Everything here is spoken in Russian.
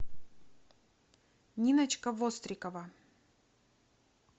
ниночка вострикова